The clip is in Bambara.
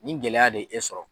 Nin gɛlɛya de e sɔrɔ.